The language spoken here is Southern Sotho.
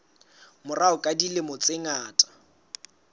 morao ka dilemo tse ngata